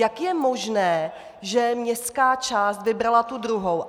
Jak je možné, že městská část vybrala tu druhou?